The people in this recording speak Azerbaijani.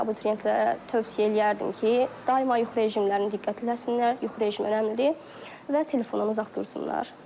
Abituriyentlərə tövsiyə eləyərdim ki, daima yuxu rejimlərini diqqət eləsinlər, yuxu rejimi önəmlidir və telefondan uzaq dursunlar.